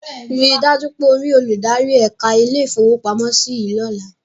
Ríi dájú pé o rí olùdarí ẹ̀ka ilé-ìfowópamọ́sí yìí lọ́la.